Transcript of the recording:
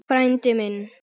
Frændi minn